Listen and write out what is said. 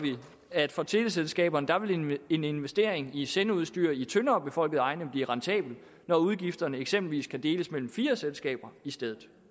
at for teleselskaberne vil en investering i sendeudstyr i tyndere befolkede egne blive rentabel når udgifterne eksempelvis kan deles mellem fire selskaber i stedet